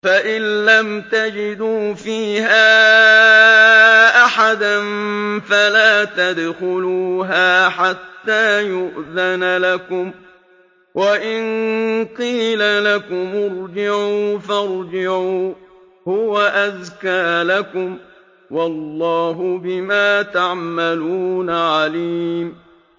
فَإِن لَّمْ تَجِدُوا فِيهَا أَحَدًا فَلَا تَدْخُلُوهَا حَتَّىٰ يُؤْذَنَ لَكُمْ ۖ وَإِن قِيلَ لَكُمُ ارْجِعُوا فَارْجِعُوا ۖ هُوَ أَزْكَىٰ لَكُمْ ۚ وَاللَّهُ بِمَا تَعْمَلُونَ عَلِيمٌ